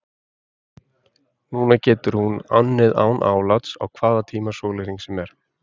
Nú getur hún unnið án afláts á hvaða tíma sólarhrings sem er.